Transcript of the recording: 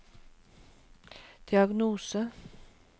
diagnose